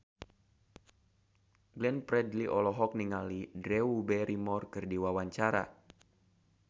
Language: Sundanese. Glenn Fredly olohok ningali Drew Barrymore keur diwawancara